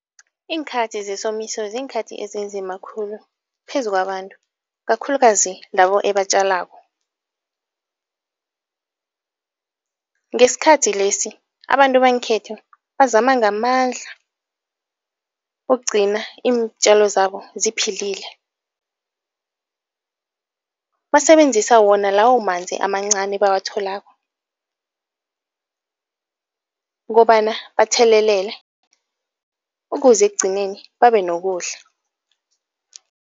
Iinkhathi zesomiso ziinkhathi ezinzima khulu phezu kwabantu kakhulukazi labo ebatjalako. Ngesikhathi lesi abantu bangekhethu bazama ngamandla ukugcina iintjalo zabo ziphilile. Basebenzisa wona lawo manzi amancani ebawatholako, ukobana bathelelele ukuze ekugcineni babe nokudla.